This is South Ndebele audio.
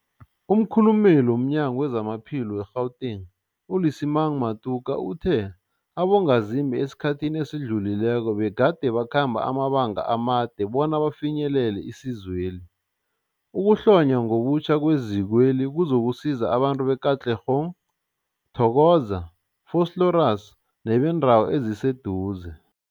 Umkhulumeli womNyango weZamaphilo we-Gauteng, u-Lesemang Matuka uthe abongazimbi esikhathini esidlulileko begade bakhamba amabanga amade bona bafinyelele isizweli. Ukuhlonywa ngobutjha kwezikweli kuzokusiza abantu be-Katlehong, Thokoza, Vosloorus nebeendawo eziseduze.